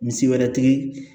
Misi wɛrɛ tigi